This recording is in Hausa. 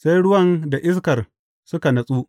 Sai ruwan da iskar suka natsu.